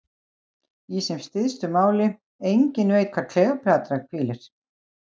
Í sem stystu máli: enginn veit hvar Kleópatra hvílir.